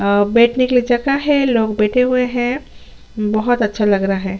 अ बैठने के लिए जहग है लोग बैठे हुए है बहोत अच्छा लग रहा है।